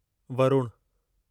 Varun